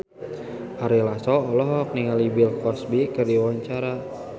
Ari Lasso olohok ningali Bill Cosby keur diwawancara